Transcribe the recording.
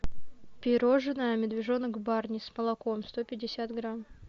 пирожное медвежонок барни с молоком сто пятьдесят грамм